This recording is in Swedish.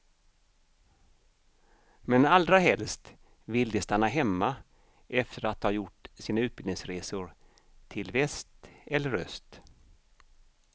Men allra helst vill de stanna hemma efter att ha gjort sina utbildningsresor till väst eller öst.